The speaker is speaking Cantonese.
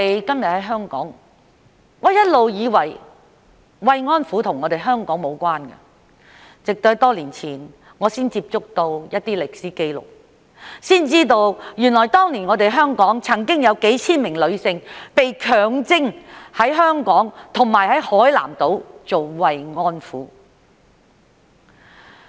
今天在香港，我一直以為慰安婦與香港無關，直至多年前我才接觸到一些歷史紀錄，知道原來當年香港曾經有數千名女性被強徵在香港及海南島做慰安婦。